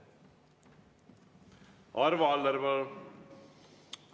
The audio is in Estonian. Arvo Aller, palun!